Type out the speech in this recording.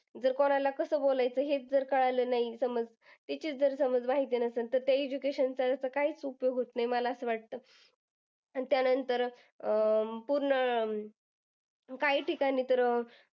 जर कोणाला कस बोलायचं हेच जर कळलं नाही. समज त्याचीच जर समज माहिती नसेल. त्या education काहीच उपयोग होत नाही. मला असं वाटतं आणि त्यानंतर अं पूर्ण काही ठिकाणी तर अं